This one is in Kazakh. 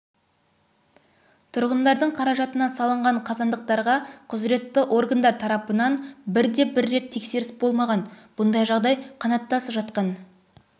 тұрғындардың қаражатына салынған қазандықтарға құзыретті органдар тарапынан бірде-бір рет тексеріс болмаған бұндай жағдай қанаттас жатқан